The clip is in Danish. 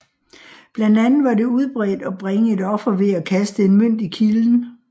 Blandt andet var det udbredt at bringe et offer ved at kaste en mønt i kilden